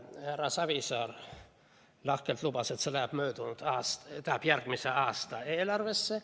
Härra Savisaar lahkelt lubas, et see läheb järgmise aasta eelarvesse.